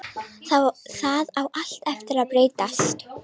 Það á allt eftir að breytast!